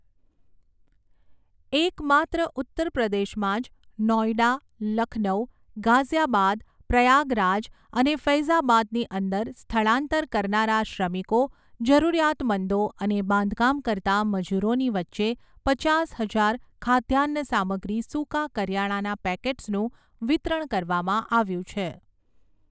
એકમાત્ર ઉત્તરપ્રદેશમાં જ નોઇડા, લખનઉ, ગાઝીયાબાદ, પ્રયાગરાજ અને ફૈઝાબાદની અંદર સ્થળાંતર કરનારા શ્રમિકો, જરૂરિયાતમંદો અને બાંધકામ કરતા મજૂરોની વચ્ચે પચાસ હજાર ખાદ્યાન્ન સામગ્રી સુકા કરિયાણાના પેકેટ્સનું વિતરણ કરવામાં આવ્યું છે.